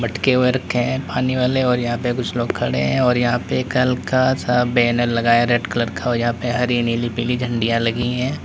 मटके हुए रखे हैं पानी वाले और यहां पे कुछ लोग खड़े हैं और यहां पे हल्का सा बैनर लगाया रेड कलर का और यहां पे हरी नीली पीली झंडियां लगी हैं।